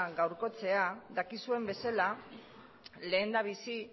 gaurkotzea dakizuen bezala lehendabizi